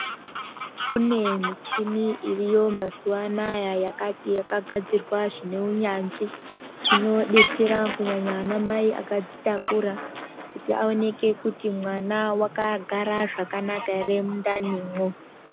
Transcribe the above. Kune michhini iriyo mazuwa anaa yakagadzirwa zvine unyanzvi, inodetsera kunyanya anamai vakazvitakura, kuti aoneke kuti mwana wakagara zvakanaka ere mundanimwo.